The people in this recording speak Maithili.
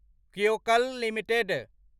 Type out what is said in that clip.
क्योक्ल लिमिटेड